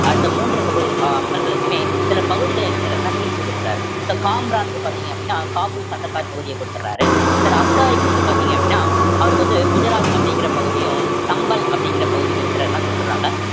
அடுத்த மூன்று பகுதி அஹ் மகன்களுக்குமே சில பகுதிகளை என்ன செய்யறதுன்னா பிரிச்சு குடுத்தறாரு so காம்ரானுக்கு பார்த்தீங்க அப்படின்னா காபூல் காந்தஹார்பகுதியை கொடுத்திடறாரு அஸ்காரிக்கு வந்து பார்த்தீங்க அப்படின்னா அவருக்கு வந்து குஜராத் அப்படிங்கற பகுதியும் சம்பல் அப்படிங்கிற பகுதியும் இருக்கிறதுதான் கொடுத்திடறாங்க